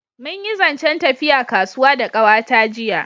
Mun yi zancen tafiya zuwa kasuwa da kawa ta jiya